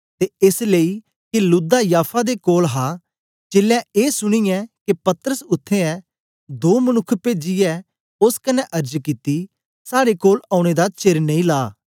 ते एस लेई के लुद्दा याफा दे कोल हा चेलें ए सुनीया के पतरस उत्थें ऐ दो मनुक्ख पेजीयै ओस कन्ने अर्ज कित्ती साड़े कोल औने दा चेर नेई ला